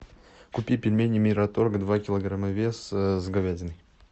купи пельмени мираторг два килограмма веса с говядиной